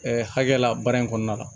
hakɛ la baara in kɔnɔna la